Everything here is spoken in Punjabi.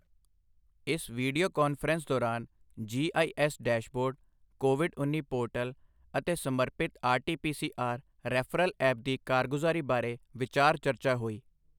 ਇਸ ਵੀਡੀਓ ਕਾਨਫ਼ਰੰਸ ਦੌਰਾਨ G I S dashboard, Covid ਉੱਨੀ ਪੋਰਟਲ ਅਤੇ ਸਮਰਪਿਤ RT P C R referral app ਦੀ ਕਾਰਗੁਜ਼ਾਰੀ ਬਾਰੇ ਵਿਚਾਰ ਚਰਚਾ ਹੋਈ।